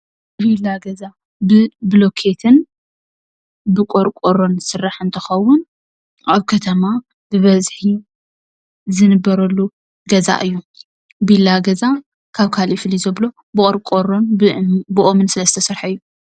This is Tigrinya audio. ቢላ ገዛ ብብሎኬትን ብቆርቆሮን ዝስራሕ እንትከዉን ኣብ ከተማ ብበዝሒ ዝንበረሉ ገዛ እዩ፡፡ ቢላ ገዛ ካብ ካሊእ ፍልይ ዘብሎ ብቆርቆሮን ብኦምን ስለ ዝተሰርሐ እዩ፡፡